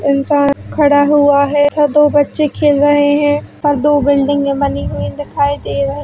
इंसान खड़ा हुआ है और दो बच्चे खेल रहे है और दो बिल्डिंगे बनी हुई दिखाई दे रही